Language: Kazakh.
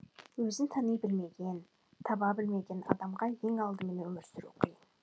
өзін тани білмеген таба білмеген адамға ең алдымен өмір сүру қиын